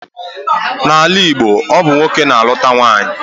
N'ala Igbo, ọ bụ nwoke na-alụta nwaanyị